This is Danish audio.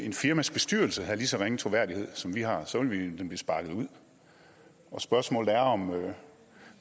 et firmas bestyrelse havde lige så ringe troværdighed som vi har så ville den blive sparket ud spørgsmålet er